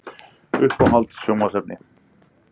Uppáhalds sjónvarpsefni?